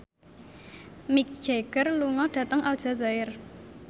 Mick Jagger lunga dhateng Aljazair